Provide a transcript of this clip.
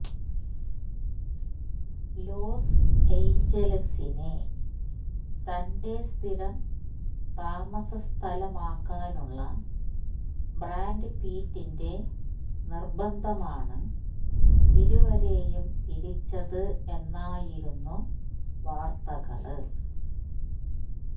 loss ഏഞ്ചലസിനെ തന്റെ സ്ഥിരം താമസ സ്ഥലമാക്കാനുള്ള ബ്രാഡ്പിറ്റിന്റെ നിര്ബന്ധമാണ് ഇരുവരുയും പിരിച്ചത് എന്നായിരുന്നു വാര്ത്തകള്